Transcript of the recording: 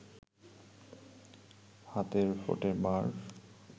হাতে ফোঁটে মা’র